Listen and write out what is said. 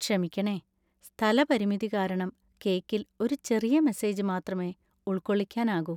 ക്ഷമിക്കണേ, സ്ഥലപരിമിതി കാരണം കേക്കിൽ ഒരു ചെറിയ മെസ്സേജ് മാത്രമേ ഉൾക്കൊള്ളിക്കാനാകൂ.